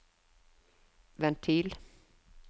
ventil